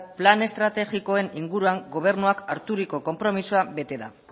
plan estrategikoen inguruan gobernuak harturiko konpromisoa bete da